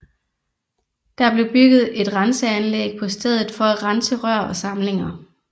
Der blev bygget et renseanlæg på stedet for at rense rør og samlinger